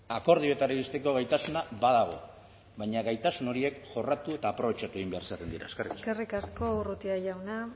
akordioetara iristeko gaitasuna badago baina gaitasun horiek jorratu eta aprobetxatu egin behar izaten dira eskerrik asko eskerrik asko urrutia jauna